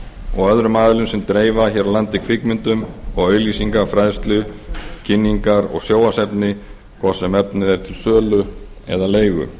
og öðrum aðilum sem dreifa hér á landi kvikmyndum og auglýsinga fræðslu kynningar og sjónvarpsefni hvort sem efnið er til sölu eða leigu